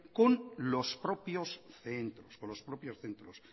con los propios centros